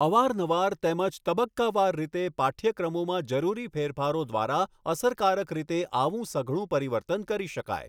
અવાર નવાર તેમજ તબકકાવાર રીતે પાઠ્યક્રમોમાં જરૂરી ફેરફારો દ્વારા અસરકારક રીતે આવું સઘળું પરિવર્તન કરી શકાય.